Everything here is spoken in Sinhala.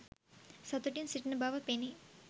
සතුටින් සිටින බව පෙනේ.